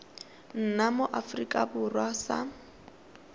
nna mo aforika borwa sa